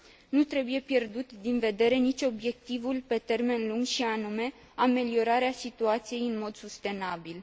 Nu trebuie pierdut din vedere nici obiectivul pe termen lung, și anume ameliorarea situației în mod sustenabil.